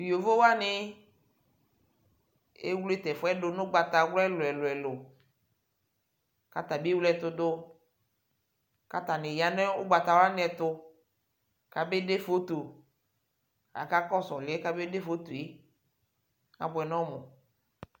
Tʋ yovo wanɩ ewle tʋ ɛfʋ yɛ dʋ nʋ ʋgbatawla ɛlʋ-ɛlʋ kʋ ata bɩ ewle ɛtʋ dʋ kʋ atanɩ za nʋ ʋgbatawla wanɩ ɛtʋ kabede foto kʋ akakɔsʋ ɔlʋ yɛ kabede foto yɛ Abʋɛ nʋ ɔmʋ